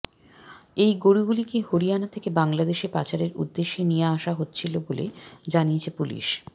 এই গোরুগুলিকে হরিয়ানা থেকে বাংলাদেশে পাচারের উদ্দেশ্যে নিয়ে আসা হচ্ছিল বলে জানিয়েছে পুলিশ